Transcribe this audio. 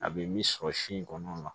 A bɛ min sɔrɔ si in kɔnɔ